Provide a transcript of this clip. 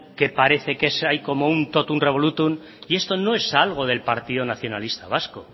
que parece que hay como un totum revolutum esto no es algo del partido nacionalista vasco